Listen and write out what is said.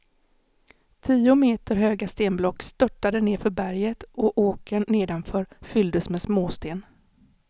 Tio meter höga stenblock störtade nerför berget och åkern nedanför fylldes med småsten.